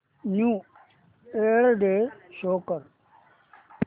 new year day show कर